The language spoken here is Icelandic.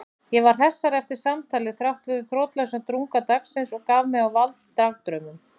Ég var hressari eftir samtalið þráttfyrir þrotlausan drunga dagsins og gaf mig á vald dagdraumum.